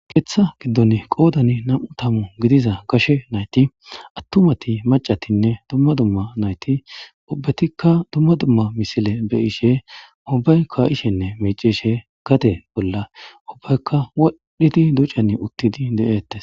Keththa giddoni qoddan nam'u taamu giddiza gashe nayiti attumati maccatinne duma duma nayiti ubbetika duma duma missile be'ishe ubbayi ka'ishenne miccishe gaden bollan ubbayikka wodhdhidi duccan uttidi de'etees.